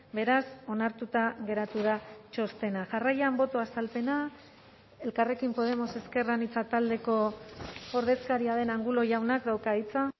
beraz onartuta geratu da txostena jarraian boto azalpena elkarrekin podemos ezker anitza taldeko ordezkaria den angulo jaunak dauka hitza